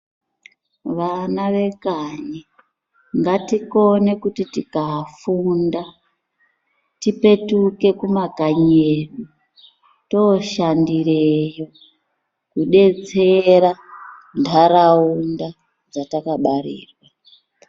Vana vekanyi, ngatikone kuti tikafunda tipetuke kumakanyi edu tooshandireyo, kudetsera ntaraunda dzatakabarirwa.